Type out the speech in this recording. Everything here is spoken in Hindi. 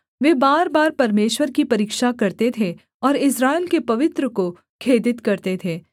वे बार बार परमेश्वर की परीक्षा करते थे और इस्राएल के पवित्र को खेदित करते थे